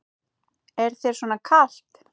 Er þér svona kalt?